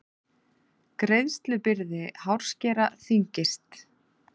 Greiðslubyrði hárskera þyngist